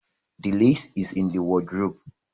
The lace is in the wardrobe